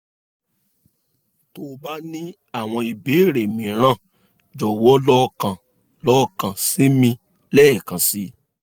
tó o bá ní àwọn ìbéèrè mìíràn jọ̀wọ́ lọ kàn lọ kàn sí mi lẹ́ẹ̀kan sí i